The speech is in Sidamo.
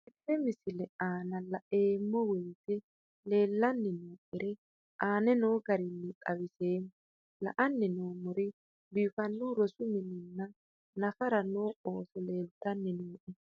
Tenne misile aana laeemmo woyte leelanni noo'ere aane noo garinni xawiseemmo. La'anni noomorri biifanohu rosu mininna nafara noo ooso leelitanni nooe.